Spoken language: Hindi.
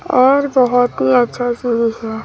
और बहुत ही अच्छा है।